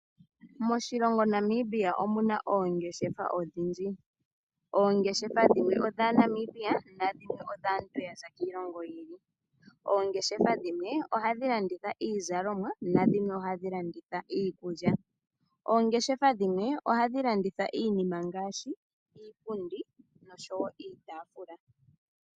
Moshilongo Namibia omu na oongeshefa odhindji. Oongeshefa dhimweodhaaNamibia, nadhimwe odhaanangeshefa ya za kiilongo yilwe. Oongeshefa dhimwe ohadhi landitha iizalomwa, dhimwe ohadhi landitha iikulya noonkwawo ohadhi landitha iinima ngaashi iipundi niitaafula.